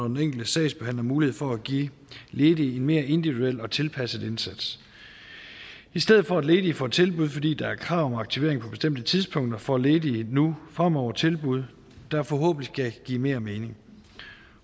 den enkelte sagsbehandler mulighed for at give ledige en mere individuel og tilpasset indsats i stedet for at ledige får tilbud fordi der er krav om aktivering på bestemte tidspunkter får ledige nu fremover tilbud der forhåbentlig vil give mere mening